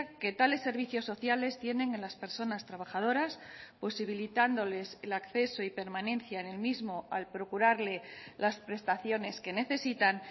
que tales servicios sociales tienen en las personas trabajadoras posibilitándoles el acceso y permanencia en el mismo al procurarle las prestaciones que necesitan